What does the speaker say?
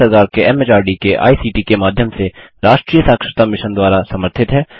यह भारत सरकार के एमएचआरडी के आईसीटी के माध्यम से राष्ट्रीय साक्षरता मिशन द्वारा समर्थित है